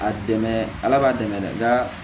A dɛmɛ ala b'a dɛmɛ dɛ nka